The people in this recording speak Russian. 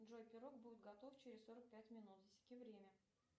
джой пирог будет готов через сорок пять минут засеки время